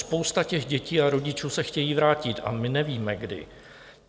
Spousta těch dětí a rodičů se chtějí vrátit a my nevíme kdy.